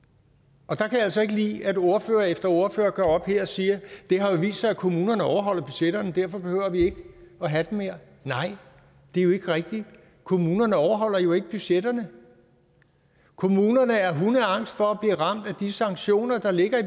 og der kan jeg altså ikke lide at ordfører efter ordfører går op her og siger det har vist sig at kommunerne overholder budgetterne og derfor behøver vi ikke have dem mere nej det er jo ikke rigtigt kommunerne overholder jo ikke budgetterne kommunerne er hundeangste for at blive ramt af de sanktioner der ligger i